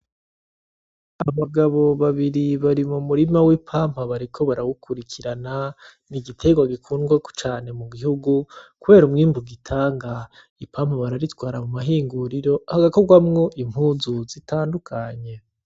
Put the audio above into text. Abagabo babiri bari mu murima w'ipampa bariko bawukurikirana. Ni igiterwa gikundwa cane mu gihugu kubera umwimbu gitanga. Impampa bararitwara mu mahinguriro hagakorwamwo impuzu zitandukanye.